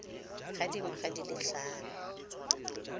ga dingwaga di le tlhano